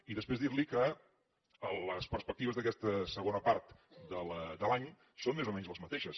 i després dir li que les perspectives d’aquesta segona part de l’any són més o menys les mateixes